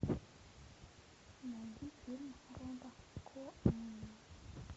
найди фильм роба коэна